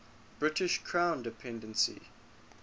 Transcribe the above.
british crown dependency